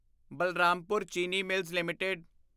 Balrampur Chini mills LTD